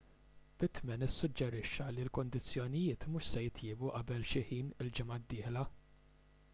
pittman issuġġerixxa li l-kundizzjonijiet mhux se jitjiebu qabel xi ħin il-ġimgħa d-dieħla